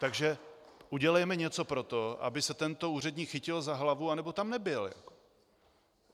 Takže udělejme něco pro to, aby se tento úředník chytil za hlavu nebo tam nebyl.